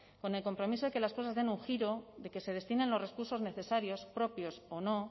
con el compromiso de que las cosas de un giro de que se destinen los recursos necesarios propios o no